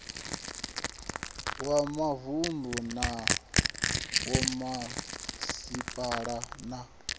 wa mavunu na vhomasipala na